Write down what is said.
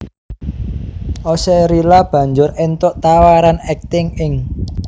Oxerila banjur éntuk tawaran akting ing